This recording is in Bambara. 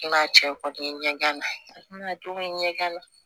N'a cɛ kɔni ye ɲɛgɛn gana ɲɛgɛn